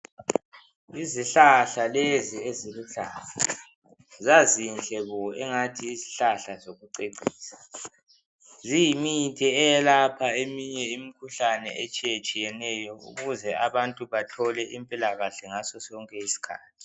Izihlahla lezi eziluhlaza zazinhle bo engathi yizihlahla zokucecisa. Ziyimithi eyelapha eminye imikhuhlane etshiyatshiyeneyo ukuze abantu bathole impilakahle ngaso sonke isikhathi.